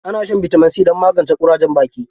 Ana shan bitamin C don magance ƙurajen baki.